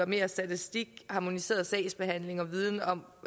mere statistik harmoniseret sagsbehandling og viden om